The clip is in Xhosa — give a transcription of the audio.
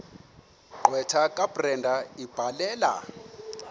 gqwetha kabrenda ebhalela